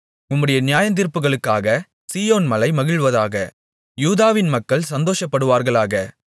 உம்முடைய நியாயத்தீர்ப்புகளுக்காக சீயோன் மலை மகிழ்வதாக யூதாவின் மக்கள் சந்தோஷப்படுவார்களாக